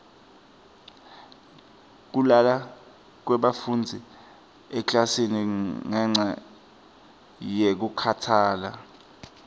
kulala kwebafundzi emaklasini ngenca yekukhatsala